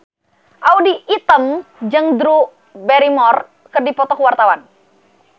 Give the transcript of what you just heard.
Audy Item jeung Drew Barrymore keur dipoto ku wartawan